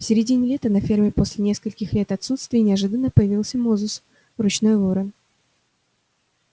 в середине лета на ферме после нескольких лет отсутствия неожиданно появился мозус ручной ворон